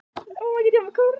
Fjögur börn létust í eldsvoða